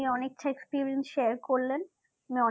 আপনি অনেকটা experience share আমি অনেক